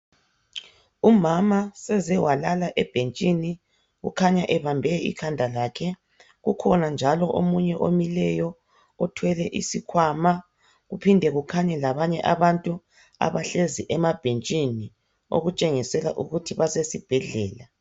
Umama sezewalala ebhetshini kukhanya ebambe ikhanda lakhe, kukhona njalo omunye omileyo othwele isikwama, kuphinde kukhanye labanye labantu abahlezi emabhetshini okutshengisela ukuthi basesibhedlela.